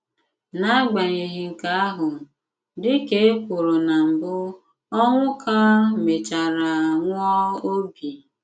N'agbanyeghị nkè àhụ, dị kà è kwùrù nà mbụ, Onwuka mèchàrà nwụà òbì.